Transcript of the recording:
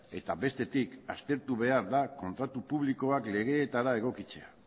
eta bestetik aztertu behar da kontratu publikoak legeetara egokitzea